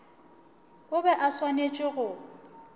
o be a swanetše go